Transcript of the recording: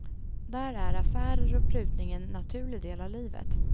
Där är affärer och prutning en naturlig del av livet.